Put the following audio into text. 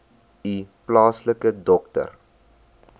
u plaaslike dokter